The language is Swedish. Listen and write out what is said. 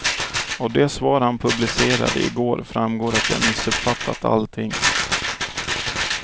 Av det svar han publicerade i går framgår att jag missuppfattat allting.